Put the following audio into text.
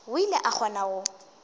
o ile a kgona go